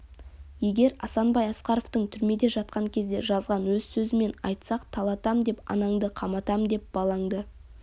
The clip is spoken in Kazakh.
егер асанбай асқаровтың түрмеде жатқан кезде жазған өз сөзімен айтсақ талатам деп анаңды қаматам деп балаңды